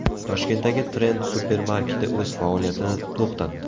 Toshkentdagi Trend supermarketi o‘z faoliyatini to‘xtatdi.